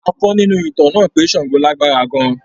A kọ́ nínú ìtàn náà pé Sango lágbára gan-an.